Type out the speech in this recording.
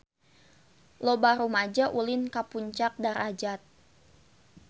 Loba rumaja ulin ka Puncak Darajat